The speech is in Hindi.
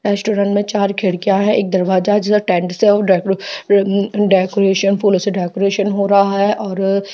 रेस्टॉरंट में चार खिड़कियां हैएक दरवाजा है जिसे टेंट से उम्म डेकोरेशन फूलो से डेकोरेशन हो रहा है और --